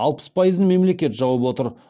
алпыс пайызын мемлекет жауып отыр